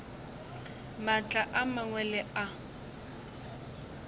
maatla a mangwe le a